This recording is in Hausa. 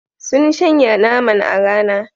Sun shanya naman a rana.